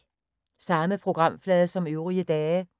Samme programflade som øvrige dage